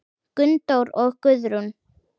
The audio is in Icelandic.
Gunndór og Guðrún.